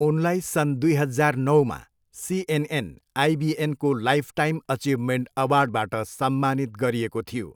उनलाई सन् दुई हजार नौमा सिएनएन, आइबिएनको लाइफटाइम अचिभमेन्ट अवार्डबाट सम्मानित गरिएको थियो।